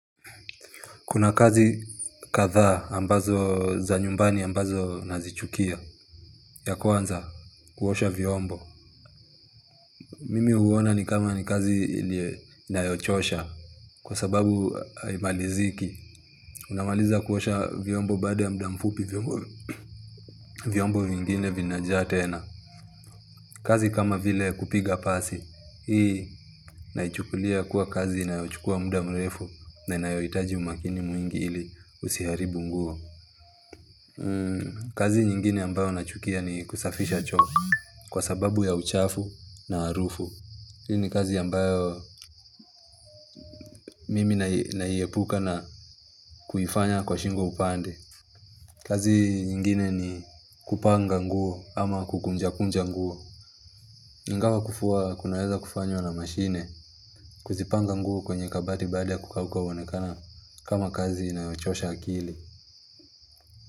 Kuna kazi kadhaa ambazo za nyumbani ambazo nazichukia. Ya kwanza kuosha vyombo. Mimi huona ni kama ni kazi inayochosha Kwa sababu haimaliziki. Unamaliza kuosha vyombo baada ya muda mfupi vyombo vingine vinajaa tena kazi kama vile kupiga pasi Hii naichukulia kuwa kazi inayochukua muda mrefu na inayohitaji umakini mwingi ili usiharibu nguo kazi nyingine ambayo nachukia ni kusafisha choo kwa sababu ya uchafu na harufu. Hili ni kazi ambayo mimi naiepuka na kuifanya kwa shingo upande kazi nyingine ni kupanga nguo ama kukunjakunja nguo. Ingawa kufua kunaweza kufanywa na mashine kuzipanga nguo kwenye kabati baada ya kukauka huonekana kama kazi inayochosha akili.